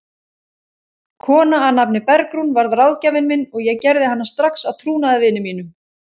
Kona að nafni Bergrún varð ráðgjafinn minn og ég gerði hana strax að trúnaðarvini mínum.